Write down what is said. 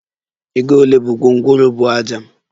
Ego ole bu gwongworo buu ájá?